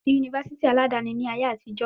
Kò sí yunifásítì aládàáni ní ayé àtijó.